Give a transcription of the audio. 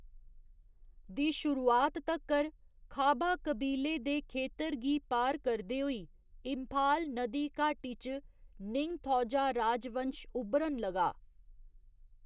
दी शुरुआत तक्कर, खाबा कबीले दे खेतर गी पार करदे होई, इंफाल नदी घाटी च निंगथौजा राजवंश उब्भरन लगा।